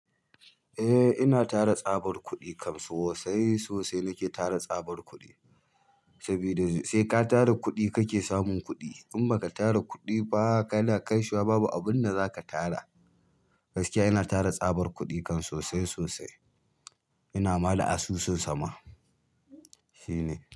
Eh ina tara tsabar kuɗi kam sosai sosai saboda sai ka tara kuɗi kake samun kuɗi in ba ka tara kuɗi ba kana kaisuwa babu abun da zaka tara gaskiya ina tara tsabar kuɗi kan sosai sosai ina ma da asusun sama shine.